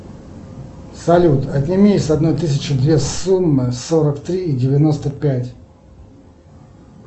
салют отними с одной тысячи две суммы сорок три и девяносто пять